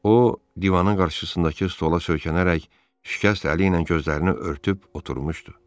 O, divanın qarşısındakı stola söykənərək şikəst əliylə gözlərini örtüb oturmuşdu.